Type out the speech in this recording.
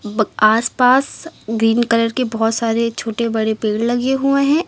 आसपास green colour के बहुत सारे छोटे बड़े पेड़ लगे हुए हैं।